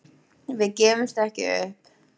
Við gefumst ekki upp.